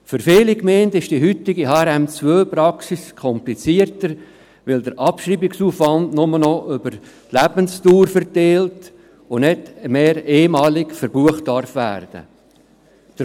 Für viele Gemeinden ist die heutige HRM2-Praxis komplizierter, weil der Abschreibungsaufwand nur noch über die Lebensdauer verteilt und nicht mehr einmal verbucht werden darf.